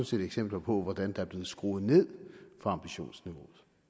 set eksempler på at der er blevet skruet ned for ambitionsniveauet